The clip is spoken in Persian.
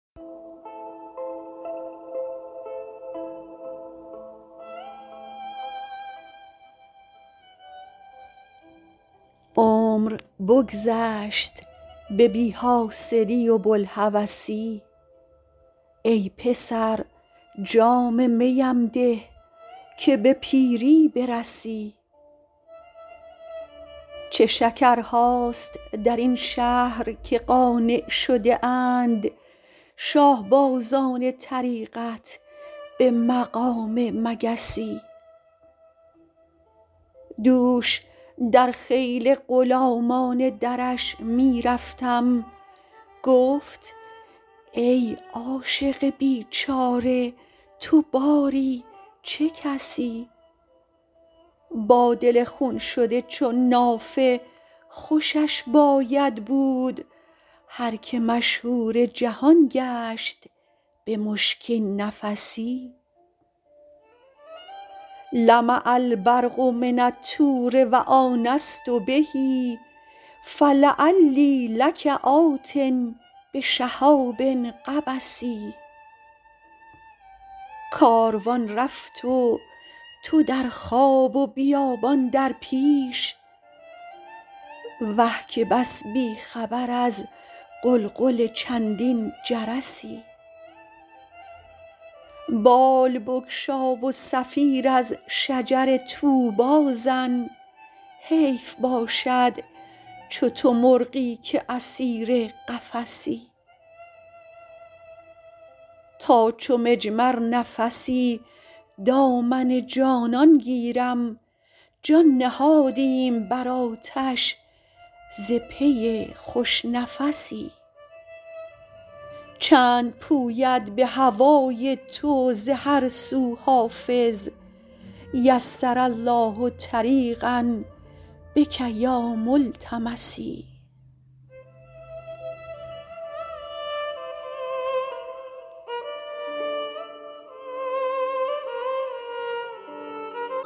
عمر بگذشت به بی حاصلی و بوالهوسی ای پسر جام می ام ده که به پیری برسی چه شکرهاست در این شهر که قانع شده اند شاه بازان طریقت به مقام مگسی دوش در خیل غلامان درش می رفتم گفت ای عاشق بیچاره تو باری چه کسی با دل خون شده چون نافه خوشش باید بود هر که مشهور جهان گشت به مشکین نفسی لمع البرق من الطور و آنست به فلعلی لک آت بشهاب قبس کاروان رفت و تو در خواب و بیابان در پیش وه که بس بی خبر از غلغل چندین جرسی بال بگشا و صفیر از شجر طوبی زن حیف باشد چو تو مرغی که اسیر قفسی تا چو مجمر نفسی دامن جانان گیرم جان نهادیم بر آتش ز پی خوش نفسی چند پوید به هوای تو ز هر سو حافظ یسر الله طریقا بک یا ملتمسی